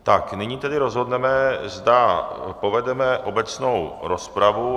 Tak, nyní tedy rozhodneme, zda povedeme obecnou rozpravu.